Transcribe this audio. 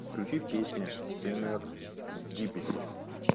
сбер включи песня серендипити